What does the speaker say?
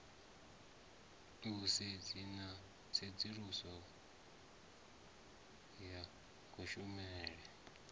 vhusedzi na tsedzuluso ya kushumele